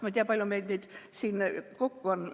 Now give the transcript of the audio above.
Ma ei tea, kui palju meid siin kokku on.